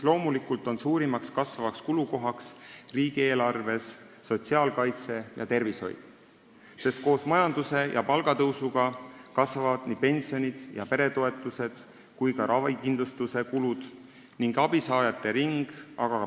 Loomulikult on suurim kasvav kulukoht riigieelarves sotsiaalkaitse ja tervishoid, sest koos majanduskasvu ja palgatõusuga kasvavad pensionid, peretoetused ja ravikindlustuse kulud ning suureneb abisaajate ring.